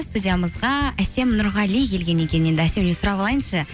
студиямызға әсем нұрғали келген екен енді әсемнен сұрап алайыншы